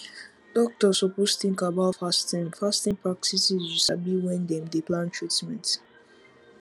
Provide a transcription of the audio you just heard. doctors suppose tink about fasting fasting practices you sabi wen dem dey plan treatment